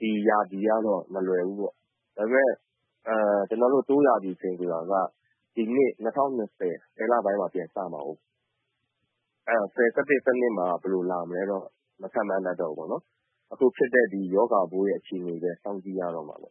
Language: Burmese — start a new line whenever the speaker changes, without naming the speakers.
ဒီရာသီကတော့ မလွယ်တော့ဘူးပေါ့။ ဒါပေမယ့် Tour ရာသီက ဒီနှစ် ၂၀၂၀ ဆယ်လပိုင်းမှာ ပြန်စမှာကိုး။ အဲဒီတော့ ၁၀ လပိုင်း၊ ၁၁ လပိုင်း၊ ၁၂ လပိုင်း မှာ ဘယ်လို လာမလဲ ဆိုတာတော့ မခန့်မှန်းတတ်တော့ဘူးပေါ့နော်။ ဒီ ရောဂါပိုး အခြေအနေဘဲ စောင့်ကြည့်ရတော့မှာပေါ့